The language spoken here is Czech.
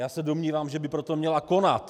Já se domnívám, že by proto měla konat.